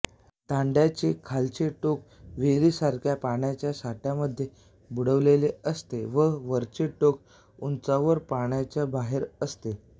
दांड्याचे खालचे टोक विहिरीसारख्या पाण्याच्या साठ्यामध्ये बुडविलेले असते व वरचे टोक उंचावर पाण्याच्या बाहेर असते